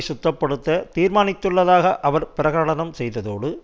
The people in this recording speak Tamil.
சுத்தப்படுத்த தீர்மானித்துள்ளதாக அவர் பிரகடனம் செய்ததோடு